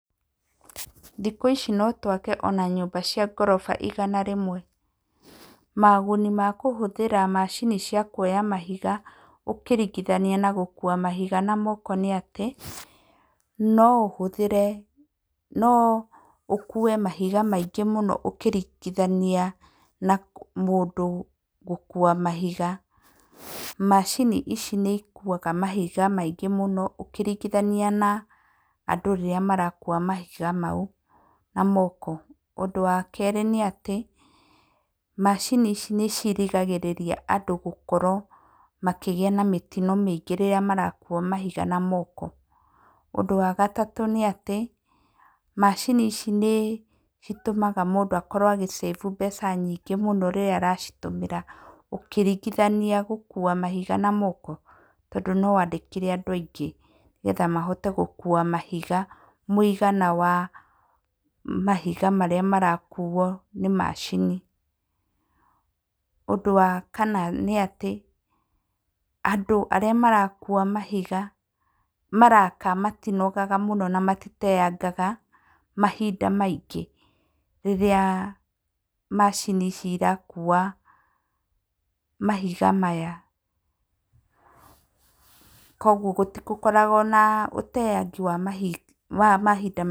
Thikũ ici ona no twake nyũmba cia ngoroba igana rĩmwe. Maũguni ma kũhũthĩra macini cia kuoya mahiga ũkĩringithania na gũkua mahiga na moko nĩ atĩ , no ũhũthĩre, no ũkue mahiga maingĩ mũno ũkĩringithania na mũndũ gũkua mahiga. Macini ici nĩ ikuaga mahiga maingĩ mũno ũkĩringithania na andũ rĩrĩa marakua mahiga mau na moko. Ũndũ wa kerĩ nĩ atĩ, macini ici nĩ cirigagĩrĩria andũ gũkorwo makĩgĩa na mĩtino mĩingĩ rĩrĩa marakua na mahiga na moko. Ũndũ wa gatatũ nĩ atĩ, macini ici nĩ citũmaga mũndũ akorwo agĩcabu mbeca nyingĩ rĩrĩa aracitũmĩra ũkĩringithania gũkua mahiga na moko tondũ no wandĩkire andũ aingĩ nĩ getha mahote gũkua mahiga mũigana wa mahiga marĩa marakuo nĩ macini. Ũndũ wa kana nĩ atĩ, andũ arĩa marakua mahiga, maraka matonagaga mũno na matitengaga mahinda maingĩ rĩrĩa macini ici irakua mahiga maya, kũoguo gũtikoragwo na ũteangi wa mahinda maingĩ.